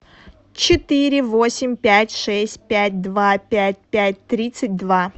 четыре восемь пять шесть пять два пять пять тридцать два